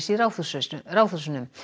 í Ráðhúsinu Ráðhúsinu